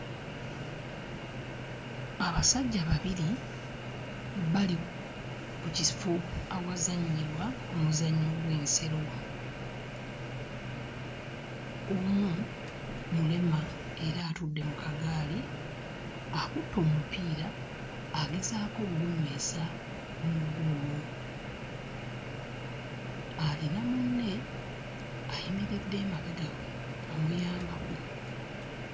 Abasajja babiri bali mu kifo awazannyibwa omuzannyo gw'ensero, omu mulema era atudde mu kagaali, akutte omupiira agezaako okugunywesa mu ggoolo, alina munne ayimiridde emabegawe amuyambako.